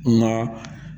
Nka